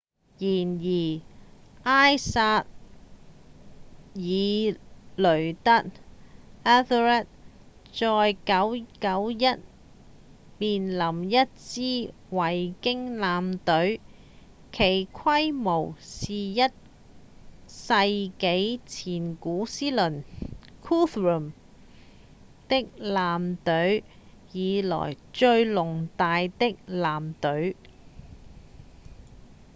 然而埃塞爾雷德 ethelred 在991年面臨了一支維京艦隊其規模是一個世紀前古思倫 guthrum 的艦隊以來最龐大的艦隊